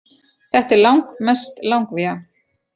Þetta er langmest langvía